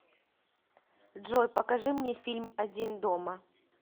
джой покажи мне фильм один дома